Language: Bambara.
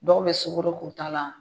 Dɔw bɛ sugɔro k'u ta la